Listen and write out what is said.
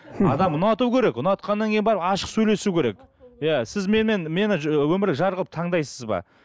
адам ұнату керек ұнатқаннан кейін барып ашық сөйлесу керек иә сіз менімен мені өмірлік жар қылып таңдайсыз ба